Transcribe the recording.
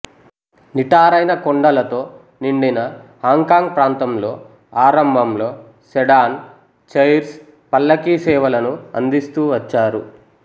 నిటారైన కొండలతో నిండిన Hong Kong ప్రాంతంలో ఆరంభంలో సెడాన్ చైర్స్ పల్లకీ సేవలను అందిస్తూ వచ్చారు